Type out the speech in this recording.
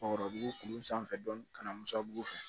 Ɔ bugu sanfɛ dɔɔnin ka na musabugu fɛ